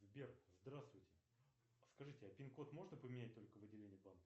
сбер здравствуйте скажите а пин код можно поменять только в отделении банка